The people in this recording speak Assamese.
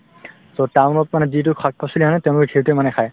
so, town ত মানে যিটো শাক-পাচলি আনে তেওঁলোকে সেইটোয়ে মানে খাই